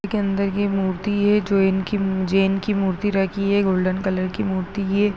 ये मूर्ति है जो इनकी जैन की मूर्ति रखी है गोल्डन कलर की मूर्ति है।